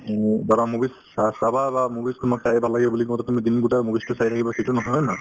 উম, ধৰা movies চা‍‍~ চাবা বা movies সমূহ চাই ভাল লাগে বুলি কওঁতে তুমি দিন গোটেই movies তোয়ে চাই থাকিবা সেইটো নহয় হয় নে নহয়